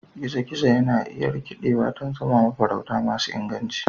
gizo-gizo na iya rikidewa don zama mafarauta masu inganci.